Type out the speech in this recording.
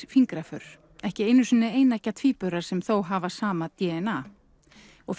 fingraför ekki einu sinni eineggja tvíburar sem þó hafa sama d n a og